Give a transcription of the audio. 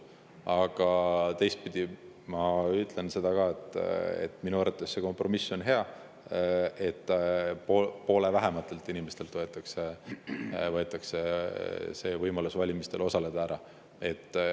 Aga teistpidi ma ütlen seda ka, et minu arvates see kompromiss on hea, et poole vähematelt inimestelt võetakse võimalus valimistel osaleda ära.